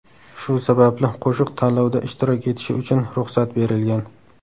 Shu sababli qo‘shiq tanlovda ishtirok etishi uchun ruxsat berilgan.